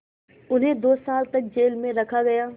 उन्हें दो साल तक जेल में रखा गया